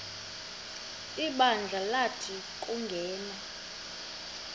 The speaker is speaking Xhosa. ibandla lathi nguyena